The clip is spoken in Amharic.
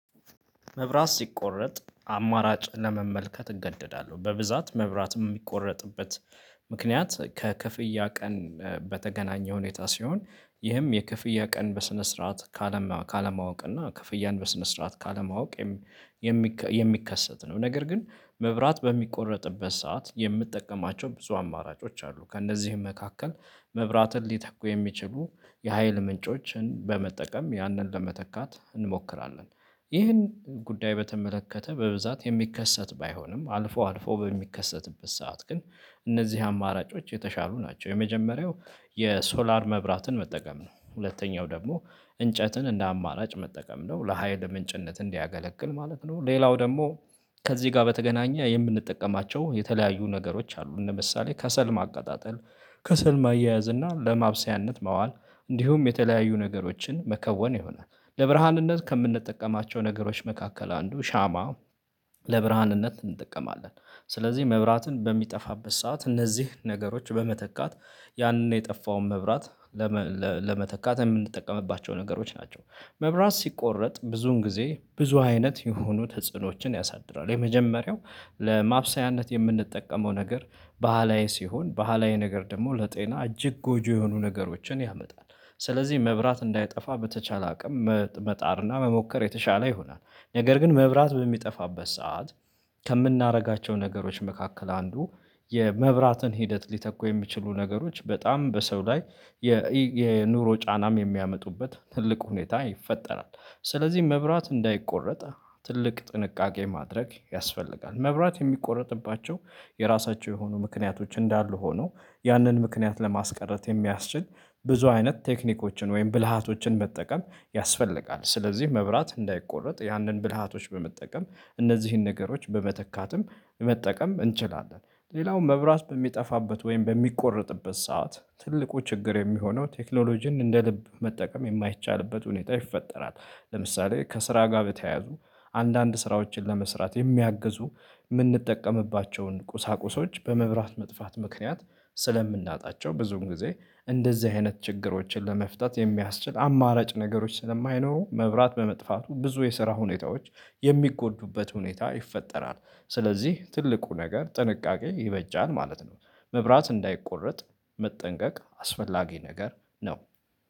መብራት ሲቆረጥ አማራጭ ለመመልከት እገደዳለሁ በብዛት መብራት የሚቆረጥበት ምክንያት ከክፍያ ቀን በተገናኘ ሁኔታ ሲሆን ይህም የክፍያ ቀን በስነ ስርዓት ካለማወቅ እና ክፍያን በስነ ስርዓት ካለማወቅ የም የሚከሰት ነው። ነገር ግን መብራት በሚቆረጥበት ሰዓት የምጠቀማቸው ብዙ አማራጮች አሉ። ከእነዚህም መካከል መብራትን ሊተኩ የሚችሉ የሀይል ምንጮችን በመጠቀም ያንን ለመተካት እንሞክራለን። ይህን ጉዳይ በተመለከተ በብዛት የሚከሰት ባይሆንም አልፎ አልፎ በሚከሰትበት ሰዓት ግን እነዚህ አማራጮች የተሻሉ ናቸው። የመጀመሪያው የሶላር መብራትን መጠቀም ነው። ሁለተኛው ደግሞ እንጨትን እንደ አማራጭ መጠቀም ነው ለሃይል ምንጭነት እንዲያገለግል ማለት ነው። ሌላው ደግሞ ከዚህ ጋር በተገናኘ የምንጠቀማቸው የተለያዩ ነገሮች አሉ። ለምሳሌ ከሰል ማቀጣጠል ከሰል ማያያዝ እና ለማብሰያነት መዋል እንዲሁም የተለያዩ ነገሮችን መከወን ይሆናል። ለብርሃንነት ከምንጠቀማቸው ነገሮች መካከል አንዱ ሻማ። ለብርሃንነት እንጠቀማለን። ስለዚህ መብራትን በሚጠፋበት ሰዓት እነዚህ ነገሮች በመተካት ያንን የጠፋውን መብራት ለመተካት የምንጠቀምባቸው ነገሮች ናቸው። መብራት ሲቆረጥ ብዙን ጊዜ ብዙ አይነት የሆኑ ተጽዕኖዎችን ያሳድራል። የመጀመሪያው ለማብሰያነት የምንጠቀመው ነገር ባህላዊ ሲሆን ባህላዊ ነገር ደግሞ ለጤና እጅግ ጎጆ የሆኑ ነገሮችን ያመጣል። ስለዚህ መብራት እንዳይጠፋ በተቻለ አቅም መጣርና መሞከር የተሻለ ይሆናል። ነገር ግን መብራት በሚጠፋበት ሰዓት ከምናደርጋቸው ነገሮች መካከል አንዱ የመብራትን ሂደት ሊተኩ የሚችሉ ነገሮች በጣም በሰው ላይ የኑሮ ጫናም የሚያመጡበት ትልቁ ሁኔታ ይፈጠራል። ስለዚህ መብራት እንዳይቆረጥ ትልቅ ጥንቃቄ ማድረግ ያስፈልጋል። መብራት የሚቆረጥባቸው የራሳቸው የሆኑ ምክንያቶች እንዳሉ ሆኖ ያንን ምክንያት ለማስቀረት የሚያስችል ብዙ አይነት ቴክኒኮችን ወይም ብልሃቶችን መጠቀም ያስፈልጋል። ስለዚህ መብራት እንዳይቆረጥ ያንን ብልሃቶች በመጠቀም እነዚህን ነገሮች በመተካትም መጠቀም እንችላለን። ሌላውም መብራት በሚጠፋበት ወይም በሚቆረጥበት ሰዓት ትልቁ ችግር የሚሆነው ቴክኖሎጂን እንደ ልብ መጠቀም የማይቻልበት ሁኔታ ይፈጠራል። ለምሳሌ ከስራ ጋር በተያያዙ አንዳንድ ስራዎችን ለመስራት የሚያግዙ የምንጠቀምባቸውን ቁሳቁሶች በመብራት መጥፋት ምክንያት ስለምናጣቸው ብዙም ጊዜ እንደዚህ አይነት ችግሮችን ለመፍታት የሚያስችል አማራጭ ነገሮች ስለማይኖሩ መብራት በመጥፋቱ ብዙ የስራ ሁኔታዎች የሚጎዱበት ሁኔታ ይፈጠራል። ስለዚህ ትልቁ ነገር ጥንቃቄ ይበጃል ማለት ነው። መብራት እንዳይቆረጥ መጠንቀቅ አስፈላጊ ነገር ነው